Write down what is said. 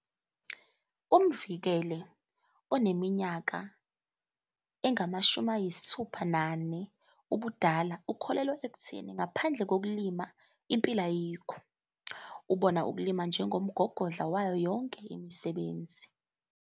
UMvikele oneminyaka engama-61 ubudala ukholelwa ekutheni ngaphandle kokulima impilo ayikho. Ubona ukulima njengomgogodla wayo yonke imisebenzi.